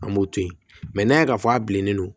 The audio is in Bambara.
An b'o to yen n'a y'a fɔ a bilennen don